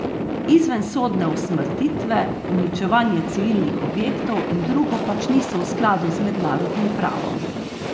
Izvensodne usmrtitve, uničevanje civilnih objektov in drugo pač niso v skladu z mednarodnim pravom.